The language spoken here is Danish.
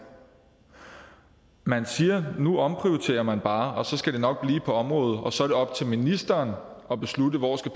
man siger at nu omprioriterer man bare og så skal det nok blive på området og så er det op til ministeren at beslutte hvor